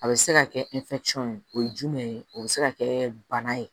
A bɛ se ka kɛ ye o ye jumɛn ye o bɛ se ka kɛ bana ye